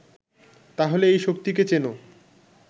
তাহলে এই শক্তিকে চেনো